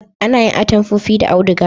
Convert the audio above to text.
A na yin atamfofi da auduga